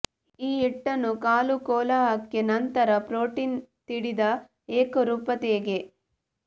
ಈ ಹಿಟ್ಟನ್ನು ಕಾಲು ಕೋಲಾಹಲಕ್ಕೆ ನಂತರ ಪ್ರೋಟೀನ್ ತೀಡಿದ ಏಕರೂಪತೆಯ ಗೆ